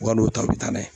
Wal'o ta bɛ taa n'a ye